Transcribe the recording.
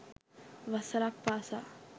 වසරක් පාසා